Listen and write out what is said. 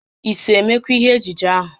I so emekwa ihe ejije ahụ?